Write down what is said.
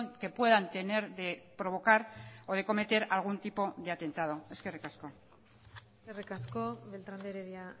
que puedan tener de provocar o de cometer algún tipo de atentado eskerrik asko eskerrik asko beltrán de heredia